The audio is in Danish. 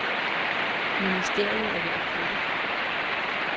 Ministeriet er ved at flytte.